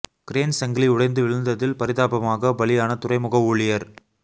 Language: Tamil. கிரேன் சங்கிலி உடைந்து வீழ்ந்ததில் பரிதாபமாக பலியான துறைமுக ஊழியர்